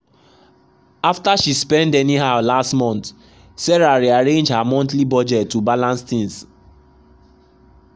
after she spend anyhow last month sarah rearrange her monthly budget to balance things.